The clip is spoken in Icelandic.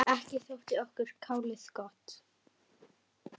Ekki þótti okkur kálið gott.